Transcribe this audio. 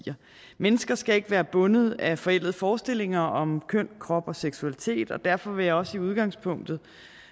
mennesker skal ikke være bundet af forældede forestillinger om køn krop og seksualitet og derfor vil jeg også i udgangspunktet